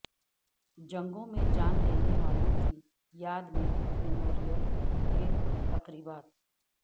جنگوں میں جان دینے والوں کی یاد میں میموریل ڈےتقریبات